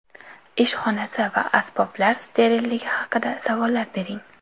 Ish xonasi va asboblar sterilligi haqida savollar bering.